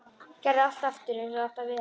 Gerði allt aftur eins og það átti að vera.